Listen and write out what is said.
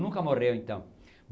Nunca morreu, então.